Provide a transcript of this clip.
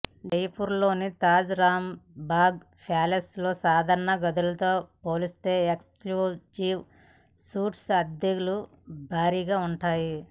జైపూర్ లోని తాజ్ రాంబాగ్ ప్యాలెస్ లో సాధారణ గదులతో పోలిస్తే ఎక్స్ క్లూజివ్ సూట్స్ అద్దెలు భారీగా ఉంటాయి